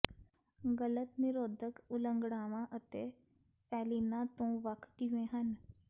ਗਲਤ ਨਿਰੋਧਕ ਉਲੰਘਣਾਵਾਂ ਅਤੇ ਫ਼ੈਲੀਨਾਂ ਤੋਂ ਵੱਖ ਕਿਵੇਂ ਹਨ